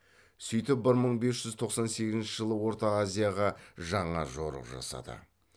сөйтіп бір мың бес жүз тоқсан сегізінші жылы орта азияға жаңа жорық жасады